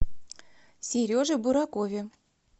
сереже буракове